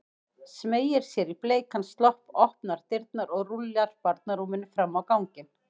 Smeygir sér í bleikan slopp, opnar dyrnar og rúllar barnarúminu fram á ganginn.